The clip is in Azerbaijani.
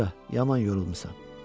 Qoca, yaman yorulmusan.